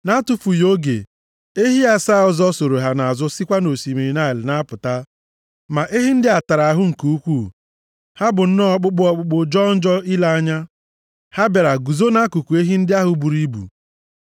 Nʼatụfughị oge, ehi asaa ọzọ soro ha nʼazụ sikwa nʼosimiri Naịl na-apụta. Ma ehi ndị a tara ahụ nke ukwuu. Ha bụ nnọọ ọkpụkpụ ọkpụkpụ, jọọ njọ ile anya. Ha bịara guzo nʼakụkụ ehi ndị ahụ buru ibu.